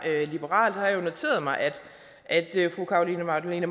liberal jeg har noteret mig at at fru carolina magdalene